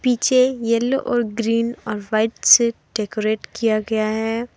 पीछे येलो और ग्रीन और व्हाइट से डेकोरेट किया गया है।